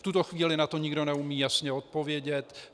V tuto chvíli na to nikdo neumí jasně odpovědět.